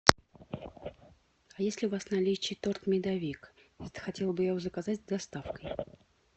есть ли у вас в наличии торт медовик хотела бы я его заказать с доставкой